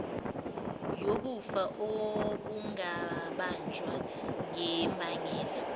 yokufa okungabanjwa ngembangela